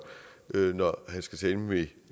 når han skal tale med